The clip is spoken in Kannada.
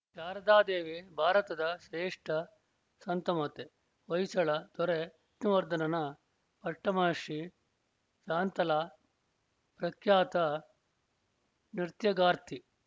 ಶಾರದಾದೇವಿ ಭಾರತದ ಶ್ರೇಷ್ಠ ಸಂತಮಾತೆ ಹೊಯ್ಸಳ ದೊರೆ ವಿಷ್ಣುವರ್ಧನನ ಪಟ್ಟಮಹಿಷಿ ಶಾಂತಲಾ ಪ್ರಖ್ಯಾತ ನೃತ್ಯಗಾರ್ತಿ